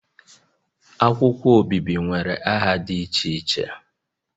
Akwụkwọ obibi nwere nha dị iche iche